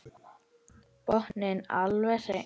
Botninn alveg hreinn.